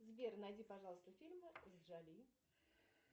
сбер найди пожалуйста фильмы с джоли